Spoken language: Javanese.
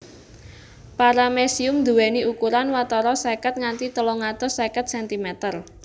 Paramecium nduwèni ukuran watara seket nganti telung atus seket centimeter